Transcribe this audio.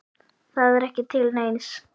Það er ekki til neins.